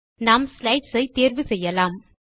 நாம் ஸ்லைட்ஸ் ஐ தேர்வு செய்யலாம்